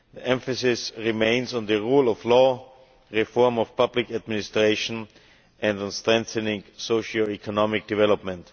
Emphasis remains on the rule of law, reform of public administration and strengthening socio economic development.